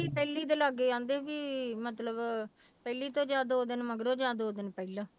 ਪਹਿਲੀ ਦੇ ਲਾਗੇ ਕਹਿੰਦੇ ਵੀ ਮਤਲਬ ਪਹਿਲੀ ਤੋਂ ਜਾਂ ਦੋ ਦਿਨ ਮਗਰੋਂ ਜਾਂ ਦੋ ਦਿਨ ਪਹਿਲਾਂ।